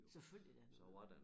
Selvfølgelig da